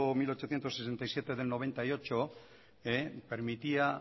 mil ochocientos sesenta y siete del noventa y ocho permitía